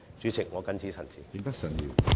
主席，我謹此陳辭。